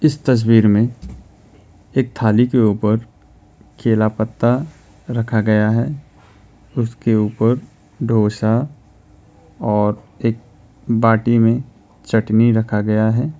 इस तस्वीर में एक थाली के ऊपर केला पत्ता रखा गया है उसके ऊपर दोसा और एक बाटी में चटनी रखा गया है।